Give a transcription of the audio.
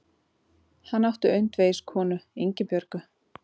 Hann átti öndvegiskonu, Ingibjörgu